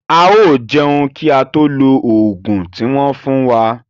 A yóò jẹun kí a tó lo oògùn tí wón fún wa.